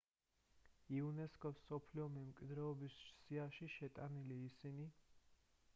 იუნესკოს მსოფლიო მემკვიდრეობის სიაშია შეტანილი ისინი